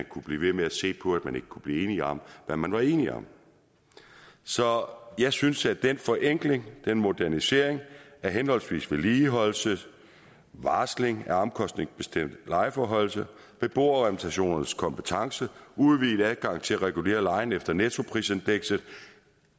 kunne blive ved med at se på at man ikke kunne blive enige om hvad man var enige om så jeg synes at den forenkling den modernisering af henholdsvis vedligeholdelse varsling af omkostningsbestemt lejeforhøjelse beboerrepræsentationernes kompetence udvidet adgang til at regulere lejen efter nettoprisindekset